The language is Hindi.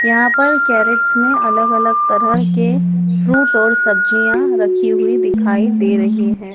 यहां पर कैरेट्स में अलग अलग तरह के फ्रूट और सब्जियां रखी हुई दिखाई दे रही हैं।